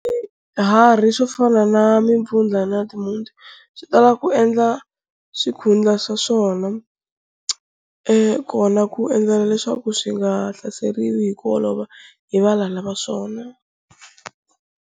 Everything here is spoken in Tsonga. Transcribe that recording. Swiharhi swo fana na mimpfundla na timhunti swi tala ku endla swikhundla swa swona kona ku endlela leswaku swi nga hlaseriwi hi ku olova hi valala va swona.